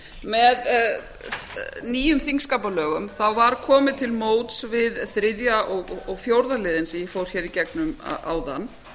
með nýjum þingskapalögum var komið til móts við þriðja og fjórða liðinn sem ég fór hér í gegnum áðan